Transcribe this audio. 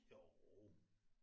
Jo